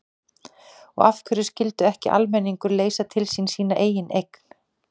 Og af hverju skyldi ekki almenningur leysa til sín sína eigin eign?